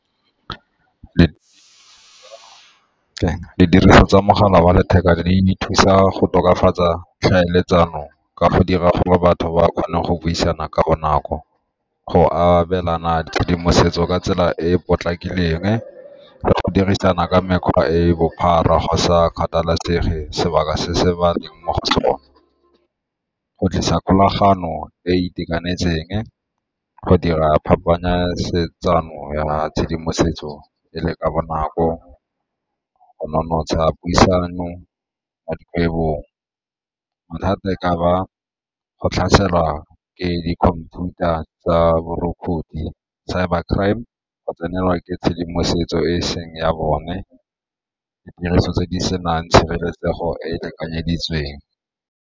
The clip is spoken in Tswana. Ditiriso tsa mogala wa letheka di ne di thusa go tokafatsa tlhaeletsano ka go dira gore batho ba kgone go buisana ka bonako, go abelana tshedimosetso ka tsela e e potlakileng, le go dirisana ka mekgwa e e bophara go sa kgathalasege sebaka se se baleng mo go sone. Go tlisa kgolagano e e itekanetseng, go dira ya tshedimosetso e le ka bonako, go nonotsha puisano mo dikgwebong. Mathata e ka ba go tlhaselwa ke di-computer-ra tsa borukgutlhi, cyber crime, go tsenelwa ke tshedimosetso e e seng ya bone, ditiriso tse di senang tshireletsego e e lekanyeditsweng.